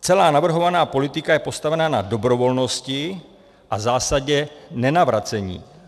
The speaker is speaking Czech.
Celá navrhovaná politika je postavena na dobrovolnosti a zásadě nenavracení.